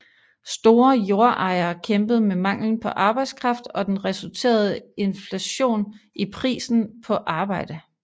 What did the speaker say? Store jordejere kæmpede med manglen på arbejdskraft og den resulterende inflation i prisen på arbejde